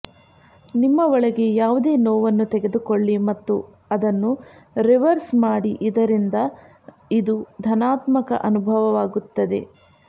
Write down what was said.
ನಿಮ್ಮ ಒಳಗೆ ಯಾವುದೇ ನೋವನ್ನು ತೆಗೆದುಕೊಳ್ಳಿ ಮತ್ತು ಅದನ್ನು ರಿವರ್ಸ್ ಮಾಡಿ ಇದರಿಂದ ಇದು ಧನಾತ್ಮಕ ಅನುಭವವಾಗುತ್ತದೆ